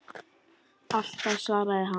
Alltaf svaraði hann.